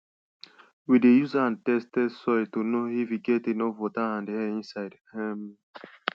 we dey use hand test test soil to know if e get enough water and air inside um